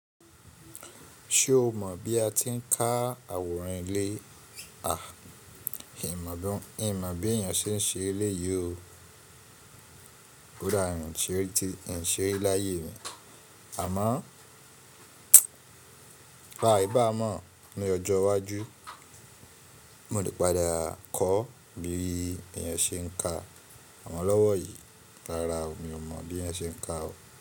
Ṣé o mọ̀ bí a ti ń ká àwòrán ilé? In mọ̀ bí èèyàn ṣe ń ṣe éléyi o. Ko dá, n ṣe ri láyé mi. Àmọ́ báà aibaá mọ̀ ní ọjọ́ iwájú, mo lè padà kọ́ bí èèyàn ṣe ń ka àmọ lọ́wọ́ yìí. Rárá o, mi ò mọ̀ bí ẹ ṣe ń ka o.